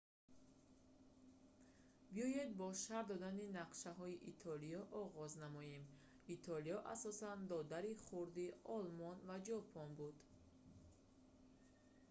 биёед бо шарҳ додани нақшаҳои итолиё оғоз намоем итолиё асосан додари хурдии олмон ва ҷопон буд